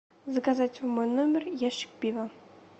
заказать в мой номер ящик пива